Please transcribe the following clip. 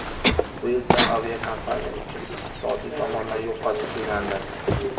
Bu esa aviakompaniya uchun iqtisodiy tomondan yo‘qotish deganidir.